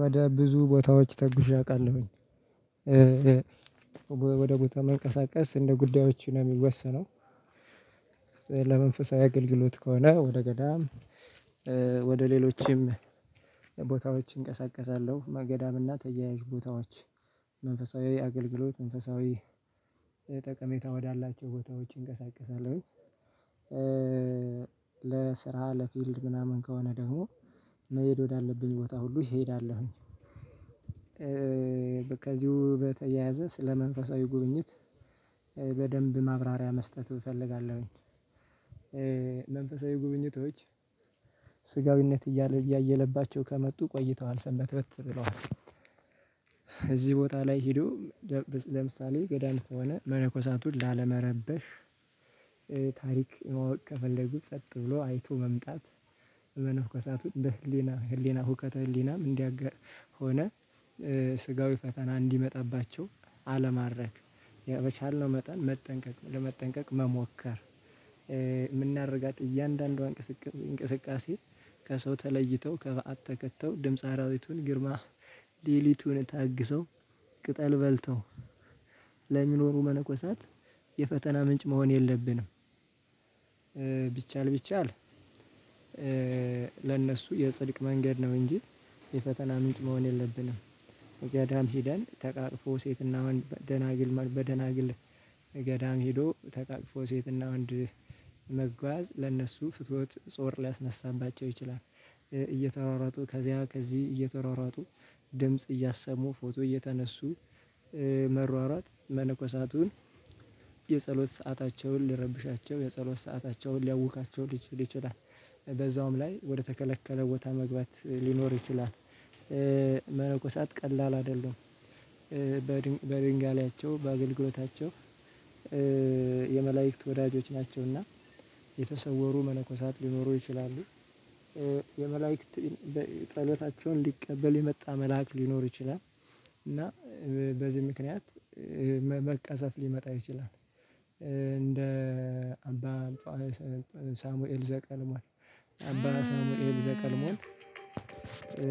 ወደ ብዙ ቦታዎች ተጉዤ አውቃለሁኝ ወደ ቦታ መንቀሳቀስ እንደ ጉዳዮች ነው የሚወሰነው። ለመንፈሳዊ አገልግሎት ከሆነ ወደ ገዳም ወደ ሌሎችም ቦታዎች እንቀሳቀሳለሁ መገዳምና ተያያዥ ቦታዎች መንፈሳዊ አገልግሎት መንፈሳዊ ጠቀሜታ ወዳላቸው ቦታዎች እንቀሳቀሳለሁኝ። ለስራ ለፊልድ ምናምን ከሆነ ደግሞ መሄድ ወዳለብኝ ቦታ ሁሉ ይሄዳለሁኝ። በቃ እዚሁ በተያያዘ ስለ መንፈሳዊ ጉብኝት በደንብ ማብራሪያ መስጠቱ እፈልጋለሁኝ። መንፈሳዊ ጉብኝቶች ስጋዊነት እያየለባቸው ከመጡ ቆይተዋል ሰምበት በት ብለዋል። እዚህ ቦታ ላይ ሄዶ ለምሳሌ ገዳም ከሆነ መነኮሳቱን ላለመረበሽ ታሪክ ማወቅ ከፈለጉ ጸጥ ብሎ አይቶ መምጣት። በመነኮሳቱ በህሊና ህሊና ሁከተ ህሊናም እንዲያጋ ሆነ ስጋዊ ፈተና እንዲመጣባቸው አለማረግ በቻልነው መጠን መጠንቀቅ ለመጠንቀቅ መሞከር። የምናደርጋት እያንዳንዷ እንቅስቃሴ እንቅስቃሴ ከሰው ተለይተው ከበአት ተከትተው ድምጽ አራዊቱን ግርማ ሌሊቱን ታግሰው ቅጠል በልተው ለሚኖሩ መነኮሳት የፈተና ምንጭ መሆን የለብንም። ቢቻል ለእነሱ የጽድቅ መንገድ ነው እንጂ የፈተና ምንጭ መሆን የለብንም። ገዳም ሄደን ተቃቅፎ ሴትና ደናግል በደናግል ገዳም ሄዶ ተቃቅፎ ሴትና ወንድ መጓዝ ለእነሱ ፍትወት ጾር ሊያስነሳባቸው ይችላል። እየተሯሯጡ ከዚያ ከዚህ እየተሯሯጡ ድምጽ እያሰሙ ፎቶ እየተነሱ መሯሯጥ መነኮሳቱን የጸሎት ሰአታቸውን ልረብሻቸው የጸሎት ሰአታቸውን ሊያውካቸው ሊችል ይችላል። በዛውም ላይ ወደ ተከለከለ ቦታ መግባት ሊኖር ይችላል። መነኮሳት ቀላል አይደሉም። በድንጋሌያቸው በአገልግሎታቸው የመላእክት ወዳጆች ናቸውና የተሰወሩ መነኮሳት ሊኖሩ ይችላሉ። የመላእክት ጸሎታቸውን ሊቀበል የመጣ መልአክ ሊኖር ይችላል። እና በዚህ ምክንያት መቀሰፍ ሊመጣ ይችላል። እንደ አባ ሳሙኤል ዘቀልሟል አባ ሳሙኤል ዘቀልሟል።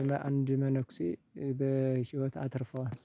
ለአንድ መነኩሴ በህይወት አትርፈዋል።